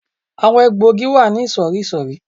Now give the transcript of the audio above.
Àwọn egbò igi wà ní ìsòrísòrí